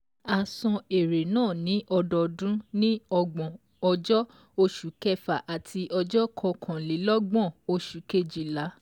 A san èrè náà ní ọdọọdún ní ọgbọ̀n ọjọ́ oṣù kẹfà àti ọjọ́ kọkànlélọ́gbọ̀n oṣù kejìlá